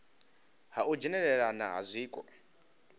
ha u dzhenelelana ha zwiko